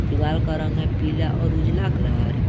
दीवाल का रंग है पीला और उजाला कलर ।